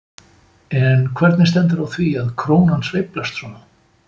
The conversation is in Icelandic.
En hvernig stendur á því að krónan sveiflast svona?